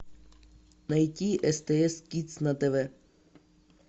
найти стс кидс на тв